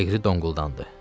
Liqri donquldandı.